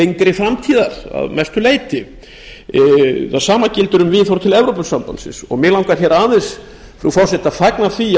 lengri framtíðar að mestu leyti sama gildir um viðhorf til evrópusambandsins mig langar aðeins frú forseti að fagna því